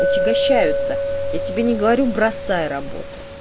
отягощаются я тебе не говорю бросай работу